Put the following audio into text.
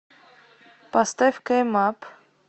поставь кэйм ап